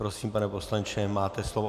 Prosím, pane poslanče, máte slovo.